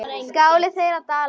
Skáli þeirra Dalbúa.